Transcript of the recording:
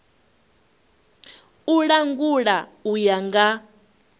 u langula u ya nga